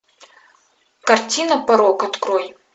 картина порок открой